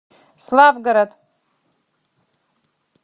славгород